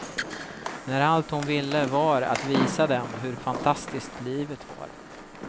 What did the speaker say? När allt hon ville var att visa dem hur fantastiskt livet var.